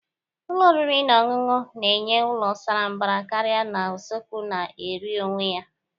Ụlọ oriri na ọṅụṅụ na-enye ụlọ sara mbara karị na usekwu na-eri onwe ya.